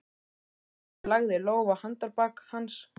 Sigríður lagði lófa á handarbak hans.